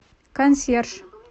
консьерж